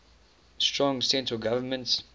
strong central government